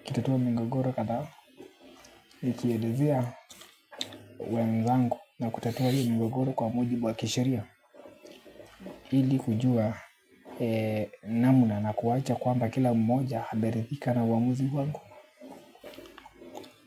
nikitatua migogoro kadhaa nikielezea wenzangu na kutatua hiyo migogoro kwa mujjibu wa kisheria ili kujua namna na kuwacha kwamba kila mmoja ameridhika na uamuzi wangu.